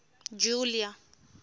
julia